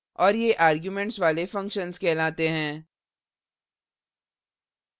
और ये arguments वाले functions कहलाते हैं